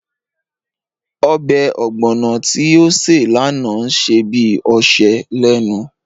Ọbẹ̀ ọ̀gbọ̀nọ̀ tí ó ṣe lánàá ń ṣe bí ọṣẹ lénu